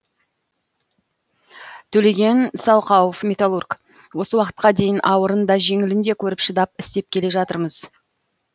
төлеген салқауов металлург осы уақытқа дейін ауырын да жеңілін де көріп шыдап істеп келе жатырмыз